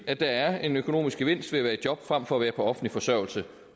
at der er en økonomisk gevinst ved at være i job frem for at være på offentlig forsørgelse